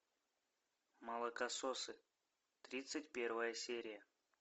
молокососы тридцать первая серия